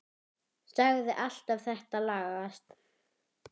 Sagðir alltaf þetta lagast.